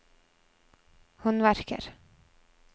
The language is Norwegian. håndverker